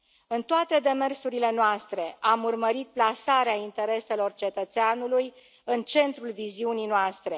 În toate demersurile noastre, am urmărit plasarea intereselor cetățeanului în centrul viziunii noastre.